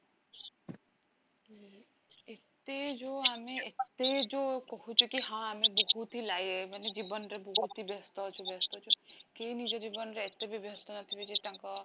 କି ଏତେ ଯୋଉ ଆମେ ଏତେ ଯୋଉ କହୁଛେ କି ହଁ ଅମେ ବହୁତ ହି ମାନେ ଜୀବନ ରେ ବହୁତ ହି ବେସ୍ତ ଅଛୁ ବେସ୍ତ ଅଛୁ, କିଏ ନିଜ ଜୀବରେ ଏତେବି ବେସ୍ତ ନଥିବେ କି ତାଙ୍କ